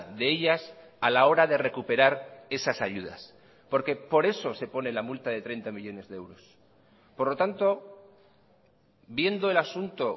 de ellas a la hora de recuperar esas ayudas porque por eso se pone la multa de treinta millónes de euros por lo tanto viendo el asunto